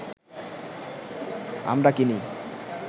আমরা কিনি